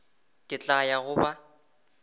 ke tla ya go ba